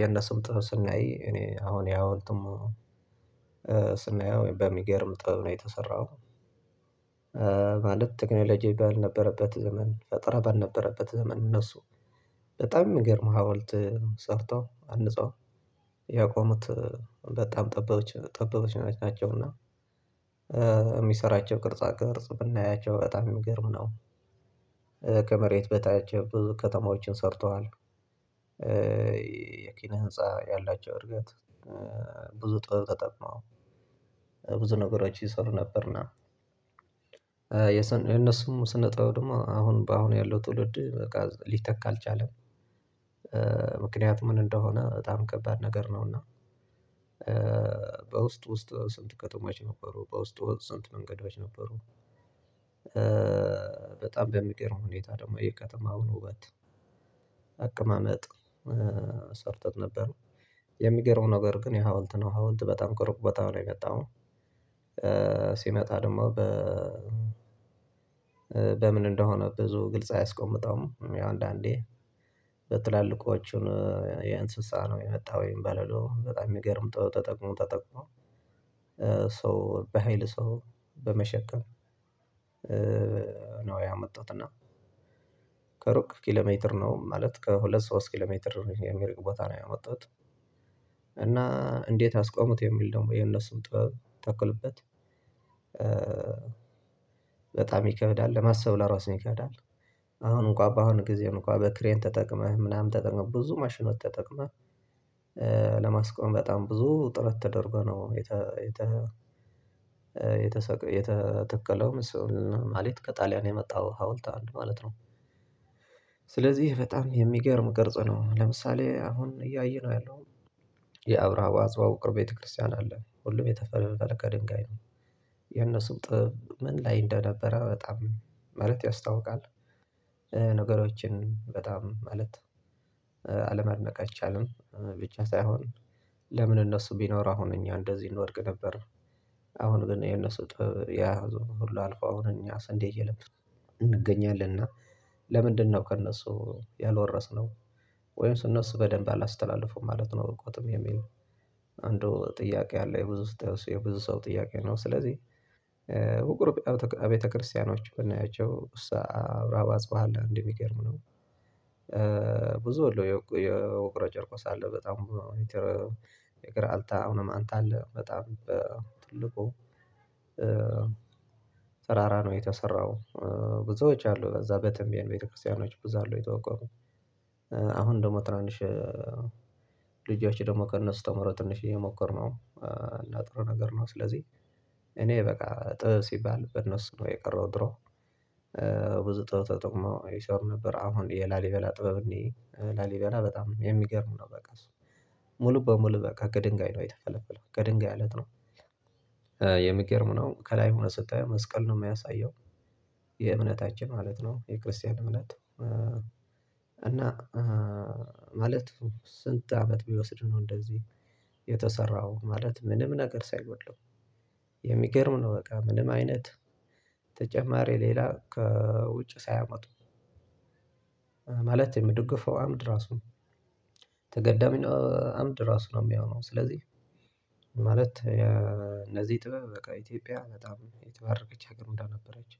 የነሱም ጥፍር ስናይ እኔ አሁን ያውልትም ስናየው በሚገርም ጥበብ ነው የተሰራው። ማለት ትግል ልጅ የሚባል ነበረበት ዘመን ፈጠረ በነበረበት ዘመን እነሱ በጣም የሚገርም ሀዋልት ሰርተው አንጸው ያቆሙት በጣም ጠበበች ጠበበች ናቸውና። የሚሰራቸው ቅርጻ ቅርጽ ብናያቸው በጣም የሚገርም ነው። ከመሬት በታች ብዙ ከተማዎችን ሰርተዋል። የኪነ ህንፃ ያላቸው እርግጠኛ ብዙ ጥበብ ጠጠብ ነው ብዙ ነገሮች ይሰሩ ነበርና። የነሱም ስነጥብ ደግሞ አሁን አሁን ያለው ትውልድ በቃ ሊተካ አልቻለም። ምክንያቱም ምን እንደሆነ በጣም ከባድ ነገር ነውና። በውስጥ ውስጥ ስንት ከተማች ነበሩ በውስጥ ስንት መንገዶች ነበሩ። በጣም በሚቀረው ሁኔታ ደግሞ የቀጠመው ውበት አቀማመጥ ሰርተት ነበር የሚገርመው ነገር ግን የሀውልት ነው ሀውልት በጣም ቅርብ በጣም ላይ መጣሁ። ሲመጣ ደግሞ በ በምን እንደሆነ ብዙ ግልጽ አያስቆምጠውም ያው አንዳንዴ በትላልቆቹ የእንስሳ ነው የመጣው ወይም በለሎ በጣም የሚገርምተው ተጠቅሞ ተጠቅሞ ሰው በሃይል ሰው በመሸከም ነው። ያመጣሁት እና ከሩቅ ኪሎሜትር ነው ማለት ከሁለት ሶስት ኪሎሜትር የሚርቅ ቦታ ነው ያመጣሁት። እና እንዴት አስቆሙት የሚል ደግሞ የነሱን ጥበብ ተክልበት በጣም ይከብዳል ለማሰብ ለራሱ ይከብዳል። አሁን እንኳን በአሁን ጊዜ እንኳን በክሬን ተጠቅመህ ምናምን ተጠቅመህ ብዙ ማሽኖት ተጠቅመህ ለማስቆም በጣም ብዙ ጥረት ተደርጎ ነው የተ የተ የተተከለውም እሱን ማለት ከጣሊያን የመጣው ሀውልት አንድ ማለት ነው። ስለዚህ በጣም የሚገርም ቅርጽ ነው ለምሳሌ አሁን እያየነው ያለው የአብራው አዝዋው ቅርብ ቤተክርስቲያን አለ ሁሉም የተፈለገ ድንጋይ ነው የነሱም ጥስብ ምን ላይ እንደነበረ በጣም ማለት ያስታውቃል። ነገሮችን በጣም ማለት አለመድነቅ አይቻልም። ብቻ ሳይሆን ለምን እነሱ ቢኖር አሁን እኛ እንደዚህ እንወድቅ ነበር። አሁን ግን የነሱ ጥበብ ያ ዙም ሁሉ አልቆ አሁን እኛስ እንዴት እየለበስን እንገኛለን እና ለምንድነው ከእነሱ ያልወረስነው? ወይም እነሱ በደንብ አላስተላልፈውም ማለት ነው። በቃውትም የሚል አንዱ ጥያቄ አለ የብዙ ስትያይ እሱ የብዙ ሰው ጥያቄ ነው ስለዚህ ወቅሩ ቤተክርስቲያኖች ብናያቸው አብራባስ በኋላ እንዲህ ቢገርም ነው። ብዙ የውቅረ ጨርቆስ አለ በጣም የግራ አልታ አሁንም አንተ አለ በጣም በትልቁ ተራራ ነው የተሰራው። ብዙዎች አሉ እዛ በተምቢያን ቤተክርስቲያኖች ብዙ አሉ የተዋቀሙት። አሁን ደግሞ ትናንሽ ልጆቼ ደግሞ ከእነሱ ተምሮ ትንሽ እየሞከርነው እና ጥሩ ነገር ነው። ስለዚህ እኔ በቃ ጥበብ ሲባል በነሱ ነው የቀረው ድሮ ብዙ ጥበብ ተጠቅሞ ይሰር ነበር አሁን የላሊበላ ጥበብ እንዴ ላሊበላ በጣም የሚገርም ነው። በቃ ሙሉ በሙሉ በቃ ከድንጋይ ነው የተፈለፈለው ከድንጋይ አለት ነው። የሚገርም ነው ከላይ ሆነ ስጣ መስቀል ነው የሚያሳየው የእምነታችን ማለት ነው። የክርስቲያን እምነት እና ማለት ስንት አመት ቢወስድ ነው እንደዚህ የተሰራው ማለት ምንም ነገር ሳይሆን የሚገርም ነው። በቃ ምንም አይነት ተጨማሪ ሌላ ከውጭ ሳያመጡ ማለት የምድግፈው አምድ ራሱ ተገዳሚ ነው። አምድ ራሱ ነው የሚሆነው ስለዚህ። ማለት እነዚህ ጥበብ በቃ ኢትዮጵያ በጣም የተባረከች ሀገር ምዳ ነበረች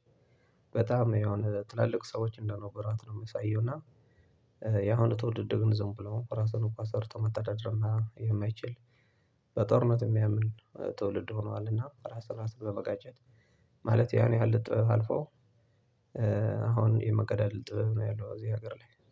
በጣም የሆነ ትላልቅ ሰዎች እንደነበራት ነው የሚሳየው። እና ያሁኑ ትውልድ ግን ዝም ብሎ ራሱን እኮ አሰርቶ መተዳደር የማይችል በጦርነት የሚያምን ትውልድ ሆኗልና። ራስህን ራስህን በመጋጨት ማለት ያን ያህል ጥበብ አልፈው አሁን የመገዳደል ጥበብ ነው ያለው እዚህ ሀገር ላይ።